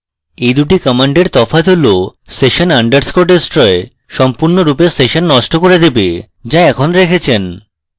এই দুটি commands তফাৎ হল sessions _ destroy সম্পূর্ণভাবে সেশন নষ্ট করে দেবে যা এখন রেখেছেন